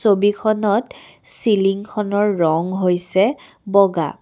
ছবিখনত চিলিং খনৰ ৰং হৈছে বগা।